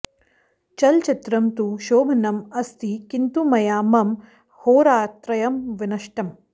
चलचित्रं तु शोभनम् अस्ति किन्तु मया मम होरात्रयं विनष्टम्